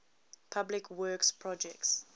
public works projects